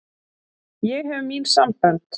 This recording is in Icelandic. Ég hef mín sambönd.